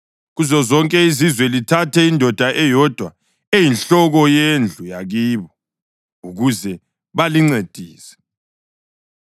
Kuzozonke izizwe lithathe indoda eyodwa, eyinhloko yendlu yakibo, ukuze balincedise.